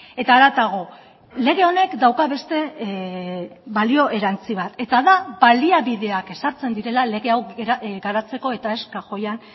eta haratago lege honek dauka beste balio erantsi bat eta da baliabideak ezartzen direla lege hau garatzeko eta ez kajoian